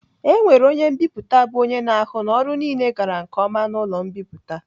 E nwere onye mbipụta bụ onye na-ahụ na ọrụ niile gara nke ọma n'ụlọ mbipụta.